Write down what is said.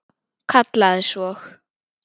Kallaði svo